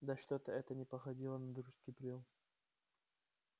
да что-то это не походило на дружеский приём